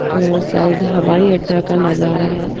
और शायद हवाई अड्डा का नजारा है।